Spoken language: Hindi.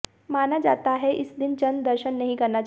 माना जाता है कि इस दिन चंद्र दर्शन नहीं करना चाहिए